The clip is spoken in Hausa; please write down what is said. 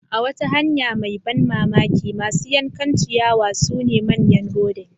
A wata hanya mai ban mamaki, masu yankan ciyawa sune manyan rodents.